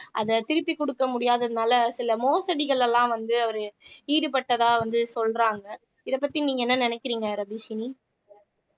அத திருப்பி கொடுக்க முடியாதனால சில மோசடிகள் எல்லாம் வந்து அவரு ஈடுபட்டதா வந்து சொல்றாங்க இத பத்தி நீங்க என்ன நினைக்கிறீங்க ரபீஷினி